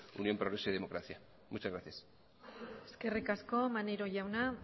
unión progreso y democracia muchas gracias eskerrik asko maneiro jauna